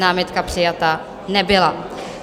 Námitka přijata nebyla.